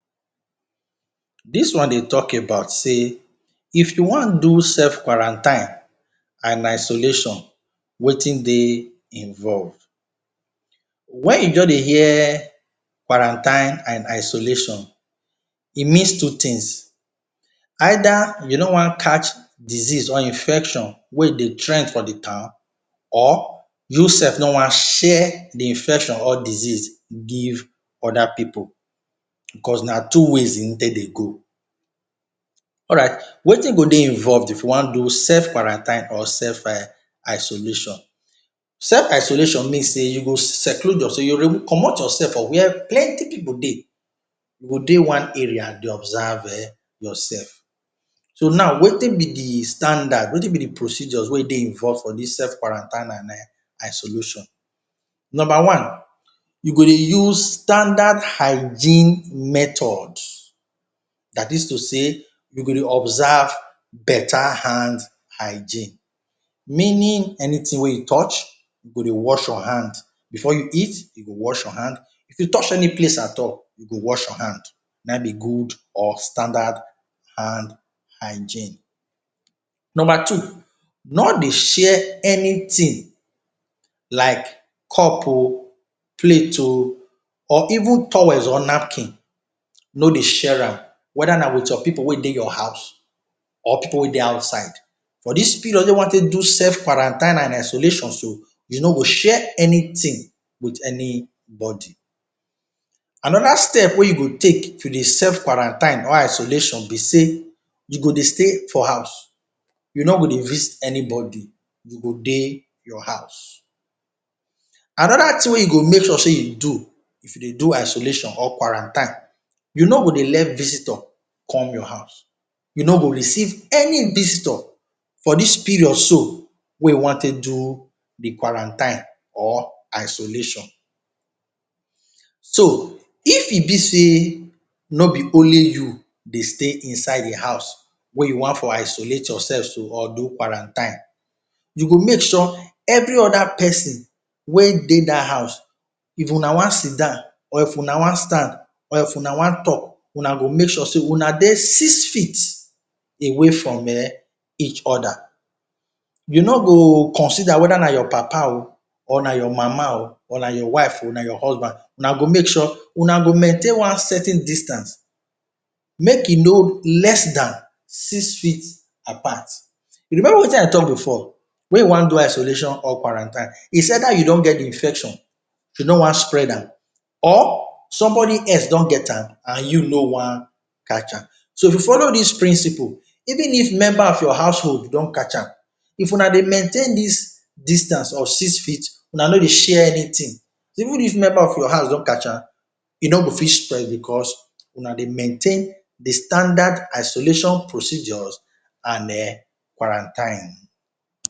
Dis one dey talk about sey if you want do self quarantine and isolation wetin dey involve. Wen you just dey hear quarantine and isolation, e means two things either you nor want catch disease or infection wey dey trend for de town or you self nor want share de infection or disease give other pipu cause na two ways im take dey go. Alright, wetin go dey involve if you want do self quarantine or self um isolation, self isolation mean sey you go seclude yourself, you go remove commot yourself from where plenty pipu dey, you go dey one area dey observe um yourself. So now wetin be de standard wetin be de procedures wey dey involve for dis self quarantine and isolation, number one you go dey use standard hygiene method, dat is to say you go dey observe better hand hygiene, meaning anything wey you touch you go dey wash your hand before you eat you go wash your hand, if you touch any place at all you go wash your hand, na im be good or standard hand hygiene. Number two nor dey share anything like cup um, plate um, or even towels or napkin, nor dey share am whether na with your pipu wey dey your house or pipu wey dey outside. For dis period wey you want take do self quarantine and isolation so you nor go share anything with any body. Another step wey you go take if you dey self quarantine or isolation be sey you go dey stay for house, you nor go dey visit anybody, you go dey your house. Another thing wey you go make sure sey you do if you dey do isolation or quarantine, you nor go dey let visitor come your house, you nor go dey receive any visitor for dis period so wey you want take do de quarantine or isolation. So if e be sey nor be only you dey stay inside de house wey you want for isolate yourself so or do quarantine, you go make sure sey every other person wey dey dat house if una want sidan or if una want stand or if una want talk una go make sure sey una dey six feet away from um each other, you nor go consider whether na your papa um or na your mama um or na your wife um or na your husband una go make sure una go maintain one certain distance make e nor less than six feet apart, remember wetin I talk before wey you want do isolation or quarantine is either you don get de infection you nor want spread am or somebody else don get am and you nor want catch am. So if you follow dis principle, even if member of your household don catch am, if una dey maintain dis distance of six feet, una nor dey share anything, even if member of your house don catch am e nor go fit spread because una dey maintain de standard isolation procedures and um quarantine.